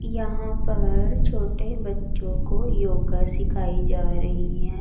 यहां पर छोटे बच्चों को योगा सिखाई जा रही है।